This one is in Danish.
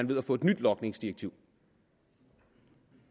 ved at få et nyt logningsdirektiv